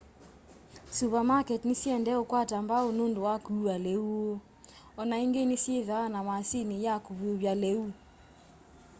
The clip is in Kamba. suvamaketi nisyiendee ukwata mbau nundu wa kuua liu woo o na ingi nisyithwaa na maasini ya kuvyuvya liu